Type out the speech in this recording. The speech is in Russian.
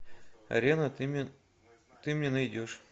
арена ты мне найдешь